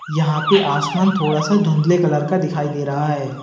यहां पे आसमान थोड़ा सा धुंधले कलर का दिखाई दे रहा है।